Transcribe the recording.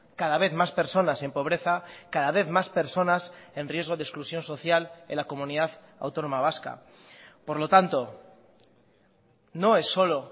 cada vez más personas en pobreza cada vez más personas en riesgo de exclusión social en la comunidad autónoma vasca por lo tanto no es solo